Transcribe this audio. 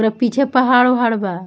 पूरा पीछे पहड़ उहाड़ बा।